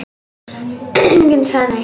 Enginn sagði neitt.